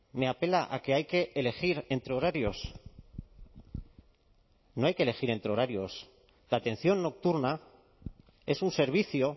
me apela a que hay que elegir entre horarios no hay que elegir entre horarios la atención nocturna es un servicio